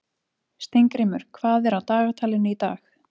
Steingrímur, hvað er á dagatalinu í dag?